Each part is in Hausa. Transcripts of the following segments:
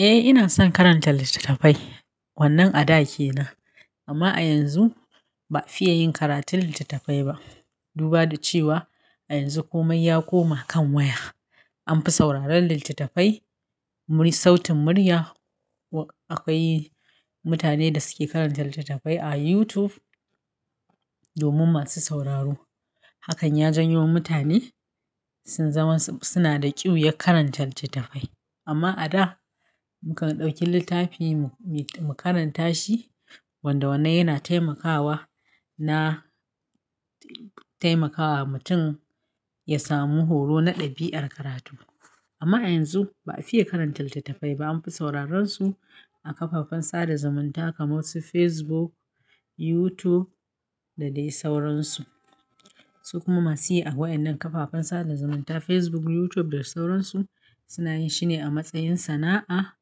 Eh, ina son karanta littattafai. Wannan a da ke nan, amma a yanzu ba a fiye yin karatun littattafai ba. Duba da cewa a yanzu komai ya koma kan waya. An fi sauraron littattafai, mur-- sautin murya. Akwai mutane da suke karanta littattafai a YouTube domin masu sauraro. Hakan ya janyo mutane sun zaman suna da ƙiuyan karanta littattafai. Amma a da mukan ɗauki littafi mu karanta shi wanda wannan yana taimakawa na taimakawa mutum ya samu horo na ɗabi'ar karatu. Amma a yanzu ba a fiye karanta littattafai ba. An fi sauraron su a kafafen sada zumunta kamar su Facebook, YouTube da dai sauransu. Su kuma masu yi a waennan kafafen sada zumunta Facebook, YouTube da sauransu suna yin shi ne a matsayin sana'a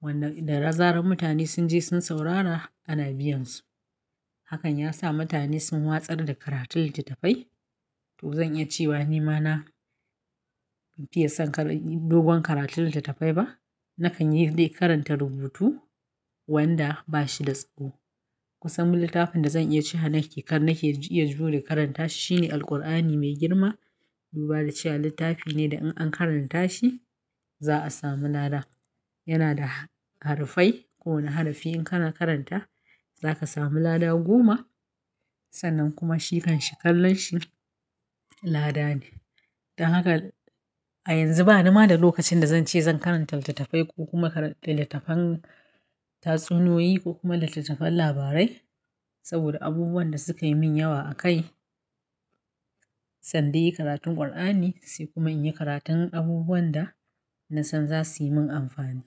wanda da ra zanar mutane sun je sun saurara ana biyan su. Hakan ya sa mutane sun watsar da karatun littattafai. To zan iya cewa ni ma na fiye son kar-- dogon karatun littattafai ba. Nakan yi dai karanta rubutu wanda ba shi da tsaho. Kusan littafin da zan iya cewa nake iya jure karanta shi ne Alqur'ani mai girma. Duba da cewa littafi ne da in an karanta shi za a sami lada. Yana da harufai. Kowane harafi in kana karanta za ka sami lada goma. Sannan kuma shi kan shi kallon shi lada ne. Don haka a yanzu bani ma da lokacin da zan ce zan karanta littattafai ko kuma karan-- littattafan tatsuniyoyi ko kuma littattafan labarai. Saboda abubuwan da suka yi min yawa a kai. Zandai yi karatun Qur'ani sai kuma in yi karatun abubuwan da na san za su yi min amfani.